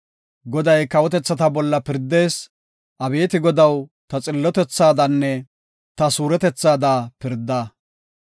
Goday kawotethata bolla pirdees; abeeti Godaw, ta xillotethaadanne ta suuretethaada pirda.